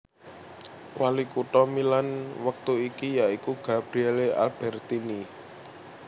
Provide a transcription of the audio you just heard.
Walikutha Milan wektu iki ya iku Gabriele Albertini